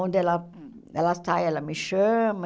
Onde ela ela sai, ela me chama.